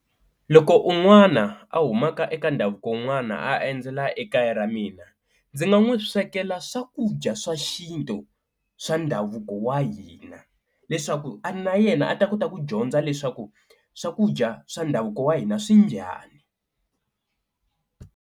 Loko un'wana a humaka eka ndhavuko un'wana a endzela ekaya ra mina ndzi nga n'wi swekela swakudya swa xintu swa ndhavuko wa hina, leswaku na yena a ta kota ku dyondza leswaku swakudya swa ndhavuko wa hina swi njhani.